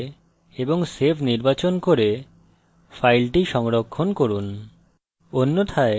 file এ টিপে এবং save নির্বাচন করে file সংরক্ষণ করুন